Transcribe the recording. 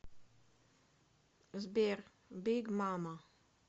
сбер биг мама